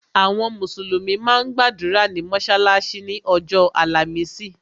Àwọn mùsùlùmí máa ń gbàdúrà ní mọ́sálásí ni ọjọ́ àlàmísì.